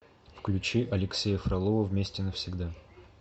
включи алексея фролова вместе навсегда